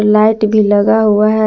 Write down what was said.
Light भी लगा हुआ है।